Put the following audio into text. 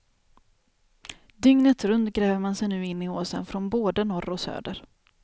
Dygnet runt gräver man sig nu in i åsen från både norr och söder.